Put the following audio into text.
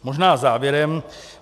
Možná závěrem.